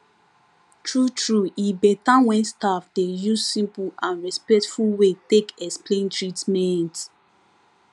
truetrue e better when staff dey use simple and respectful way take explain treatment